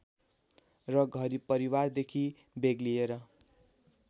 र घर परिवारदेखि बेग्लिएर